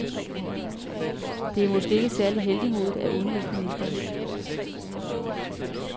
Det er måske ikke særlig heltemodigt af udenrigsministeren.